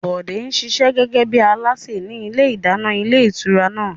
Bọ̀dé ń ṣiṣẹ́ gẹ́gẹ́ bí alásè ní ilé ìdáná ilé ìtura náà